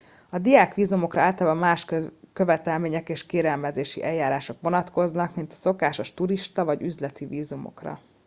a diák vízumokra általában más követelmények és kérelmezési eljárások vonatkoznak mint a szokásos turista vagy üzleti vízumokra